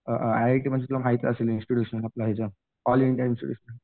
a I I T म्हणजे तुला माहित असेल इन्स्टिट्यूशन आपलं ह्याच ऑल इंडिया